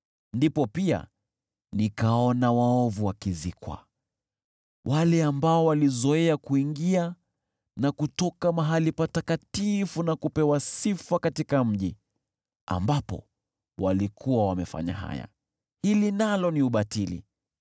Ndipo pia, nikaona waovu wakizikwa, wale ambao walizoea kuingia na kutoka mahali patakatifu na kupewa sifa katika mji ambapo walikuwa wamefanya haya. Hili nalo ni ubatili.